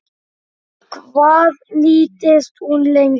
Hvað nýtist hún lengi?